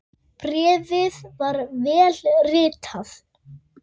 Bréfið var vel ritað.